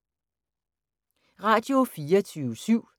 Radio24syv